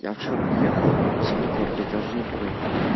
я вчера приехал во сколько блять я уже не помню